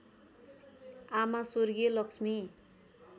आमा स्वर्गीय लक्ष्मी